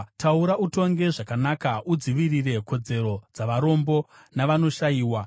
Taura utonge zvakanaka; udzivirire kodzero dzavarombo navanoshayiwa.”